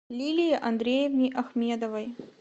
лилии андреевне ахмедовой